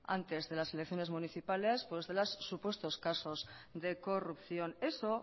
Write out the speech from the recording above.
antes de las elecciones municipales pues de los supuestos casos de corrupción eso